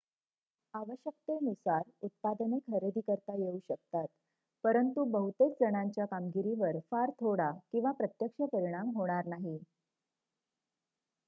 आवश्यकतेनुसार उत्पादने खरेदी करता येऊ शकतात परंतु बहुतेक जणांच्या कामगिरीवर फार थोडा किंवा प्रत्यक्ष परिणाम होणार नाही